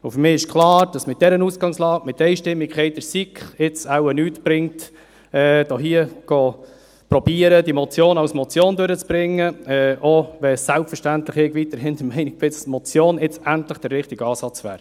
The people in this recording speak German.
Für mich ist klar, dass es mit dieser Ausgangslage, mit der Einstimmigkeit in der SiK, es jetzt wohl nichts bringt, hier zu versuchen, die Motion als Motion durchzubringen, auch wenn ich selbstverständlich der Meinung bin, dass die Motion jetzt endlich der richtige Ansatz wäre.